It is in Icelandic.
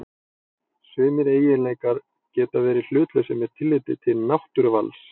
Sumir eiginleikar geta verið hlutlausir með tilliti til náttúruvals.